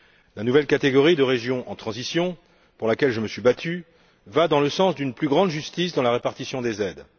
La nouvelle catégorie de régions en transition, pour laquelle je me suis battu, va dans le sens d'une plus grande justice dans la répartition des aides.